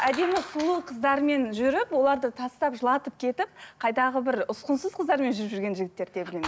әдемі сұлу қыздармен жүріп оларды тастап жылатып кетіп қайдағы бір ұсқынсыз қыздармен жүріп жүрген жігіттерді де білемін